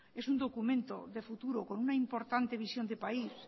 es un documento de futuro con una importante visión de país